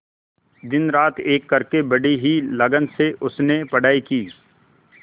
दिनरात एक करके बड़ी ही लगन से उसने पढ़ाई की